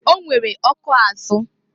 O nwere ọkụ azụ.